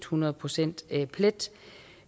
hundrede procent plet